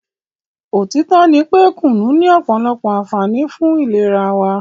òtítọ́ ní wípé kùnú ní ọ̀pọ̀lọpọ̀ ànfààní fún ìlera wa.